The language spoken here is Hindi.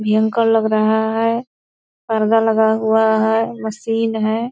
भयंकर लग रहा है पर्दा लगा हुआ है मशीन है।